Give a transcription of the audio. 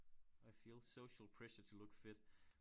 I feel social pressure to look fit